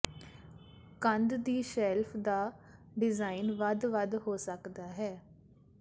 ਕੰਧ ਦੀ ਸ਼ੈਲਫ ਦਾ ਡਿਜ਼ਾਈਨ ਵੱਖ ਵੱਖ ਹੋ ਸਕਦਾ ਹੈ